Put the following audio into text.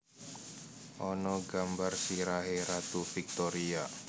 Ana gambar sirahe Ratu Victoria